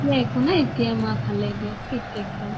মোৰ একো নাই এতিয়া মা ভালে দিয়া fit একদম